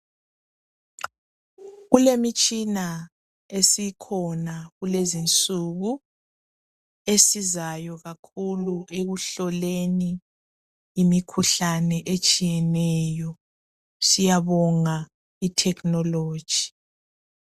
Kulemitshina esikhona kulezinsuku esizayo kakhulu ekuhloleni imikhuhlane etshiyeneyo siyabonga i technology